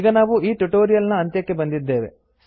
ಈಗ ನಾವು ಈ ಟ್ಯುಟೋರಿಯಲ್ ನ ಅಂತ್ಯಕ್ಕೆ ಬಂದಿದ್ದೇವೆ